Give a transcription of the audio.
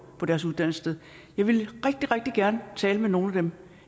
på deres uddannelsessted jeg ville rigtig rigtig gerne tale med nogle af dem